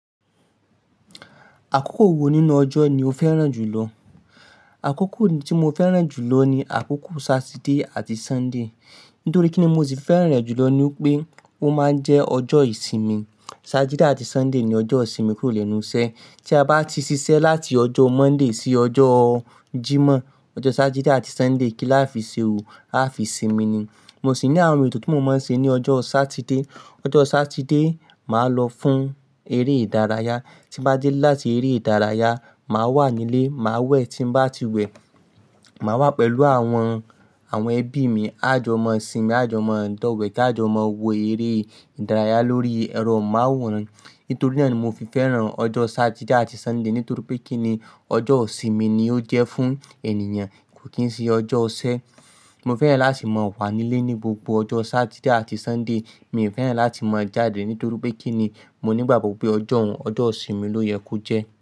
Àkókò wo nínú ọjọ́ ni o fẹ́ràn jùlọ? Àkókò tí mo fẹ́ràn jùlọ ni àkókò Saturday àti Sunday. Nítorí kíni mo sì fẹ́ràn rẹ̀ jùlọ ni pé ó máa ń jẹ́ ọjọ́ ìsinmi. Saturday àti Sunday ni ọjọ́ ìsinmi kúrò lẹ́nu iṣẹ́. Tí a bá ti ṣiṣẹ́ láti ọjọ́ Monday sí ọjọ́ Jimọ, ọjọ́ Saturday àti Sunday kí láfi ṣe òò, áfi sinmi ni. Mo sì ní àwọn ètò tí mo máa ń ṣe ní ọjọ́ Saturday. Ọjọ́ Saturday, màá lọ fún eré ìdárayá. Tí bá dé láti eré ìdárayá, màá wà nílé, màá wẹ̀ tí n bá ti wẹ̀. Màá wà pẹ̀lú àwọn, àwọn ẹbí mi. Á jọmọ́ sinmi, á jọmọ́ dọ̀wẹ̀, á jọmọ́ wo eré ìdárayá lórí ẹ̀rọ amóhùnmáwòrán. Nítorí náà ni mo fi fẹ́ràn ọjọ́ Saturday àti Sunday. Nítorípé kíni ọjọ́ ìsinmi ni ó jẹ́ fún ènìyàn, kò kín ṣe ọjọ́ iṣẹ. Mo fẹ́ràn láti máa wà nílé ní gbogbo ọjọ́ Saturday àti Sunday. Mi ò fẹ́ràn láti máa jáde, nítorí pé kíni mo nígbàgbọ́ pé ọjọ́ òun, ọjọ́ ìsinmi ló yẹ kó jẹ́.